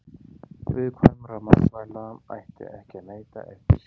Viðkvæmra matvæla ætti ekki að neyta eftir síðasta söludag.